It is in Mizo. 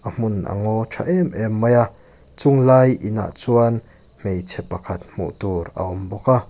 hmun a ngaw ṭha em em mai a chunglai inah chuan hmeichhe pakhat hmuh tur a awm bawk a.